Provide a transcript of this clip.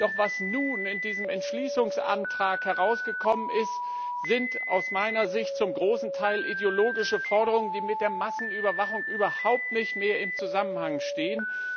Doch was nun in diesem Entschließungsantrag herausgekommen ist, sind aus meiner Sicht zum großen Teil ideologische Forderungen, die mit der Massenüberwachung überhaupt nicht mehr im Zusammenhang stehen.